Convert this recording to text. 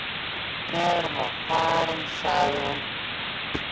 Þegar hann var farinn sagði hún